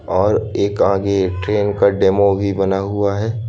और एक आगे ट्रेन का डेमो भी बना हुआ है।